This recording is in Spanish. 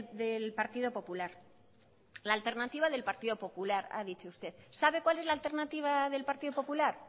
del partido popular la alternativa del partido popular ha dicho usted sabe cuál es la alternativa del partido popular